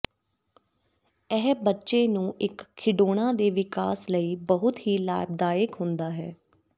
ਇਹ ਬੱਚੇ ਨੂੰ ਇੱਕ ਖਿਡੌਣਾ ਦੇ ਵਿਕਾਸ ਲਈ ਬਹੁਤ ਹੀ ਲਾਭਦਾਇਕ ਹੁੰਦਾ ਹੈ